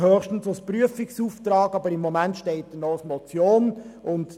Er ist höchstens als Prüfungsauftrag diskutabel, aber momentan steht er noch als Motion da.